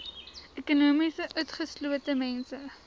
ekonomies utgeslote mense